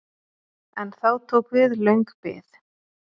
En þá tók við löng bið.